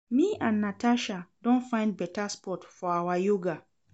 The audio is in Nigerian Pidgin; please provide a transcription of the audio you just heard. Me and Natasha don find better spot for our yoga